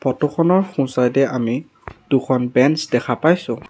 Photo খনৰ সোঁ side এ আমি দুখন বেঞ্চ দেখা পাইছোঁ।